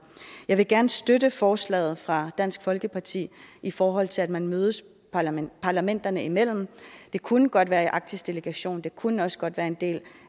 jeg vil gerne støtte forslaget fra dansk folkeparti i forhold til at man mødes parlamenterne parlamenterne imellem det kunne godt være i den arktiske delegation det kunne også godt være en del